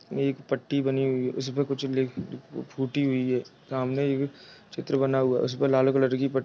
एक पट्टी बनी हुई है उसपे कुछ लिख फूटी हुई है सामने चित्र बना हुआ है उस पे लाल कलर की पट --